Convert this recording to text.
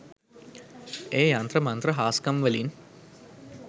එය යන්ත්‍ර මන්ත්‍ර හාස්කම්වලින්